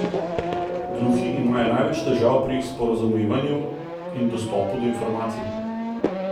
Gluhi imajo največ težav pri sporazumevanju in dostopu do informacij.